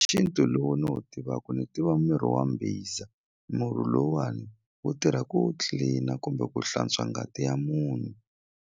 Xintu lowu ni wu tivaku ni tiva miri wa mbhiza murhi lowuwani wu tirha ku clean-a kumbe ku hlantswa ngati ya munhu.